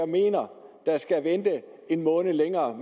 mener skal vente en måned længere